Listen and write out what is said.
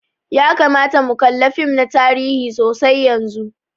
Ya kamata mu kalla fim na tarihi sosai yanzun.